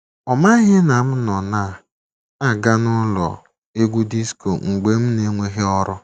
Ọ maghị na m nọ na - aga n’ụlọ egwú disko mgbe m n'enweghị ọrụ. ”